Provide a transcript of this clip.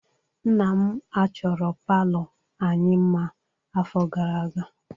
Nna m achọro palọ anyị mma afọ gara aga.